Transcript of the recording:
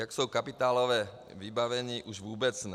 Jak jsou kapitálově vybaveni už vůbec ne.